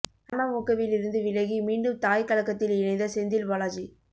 அமமுகவில் இருந்து விலகி மீண்டும் தாய் கழகத்தில் இணைந்த செந்தில் பாலாஜி